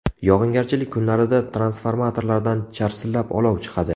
Yog‘ingarchilik kunlarida transformatorlardan charsillab olov chiqadi.